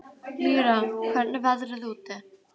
Lýra, hvernig er veðrið úti?